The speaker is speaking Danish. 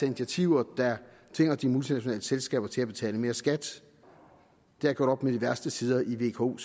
initiativer der tvinger de multinationale selskaber til at betale mere skat der er gjort op med de værste sider i vko